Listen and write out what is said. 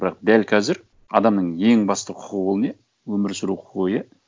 бірақ дәл қазір адамның ең басты құқығы ол не өмір сүру құқығы иә